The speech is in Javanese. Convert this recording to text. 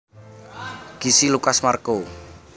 Gisi Lucas Marco